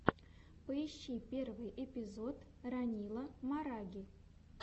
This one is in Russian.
поищи первый эпизод ранила мараги